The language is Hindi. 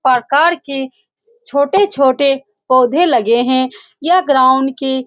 आकर के छोटे-छोटे पोधे लगे हैं यह ग्राउंड के --